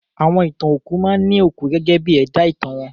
Àwọn ìtàn òkú máa ní òkú gẹ́gẹ́ bí ẹ̀dá ìtàn wọn.